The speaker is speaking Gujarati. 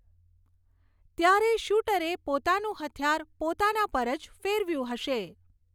ત્યારે શૂટરે પોતાનું હથિયાર પોતાના પર જ ફેરવ્યું હશે.